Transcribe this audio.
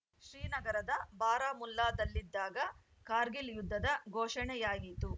ಶ್ರೀನಗರದ ಬಾರಾಮುಲ್ಲಾದಲ್ಲಿದ್ದಾಗ ಕಾರ್ಗಿಲ್‌ ಯುದ್ಧದ ಘೋಷಣೆಯಾಯಿತು